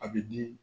A bi di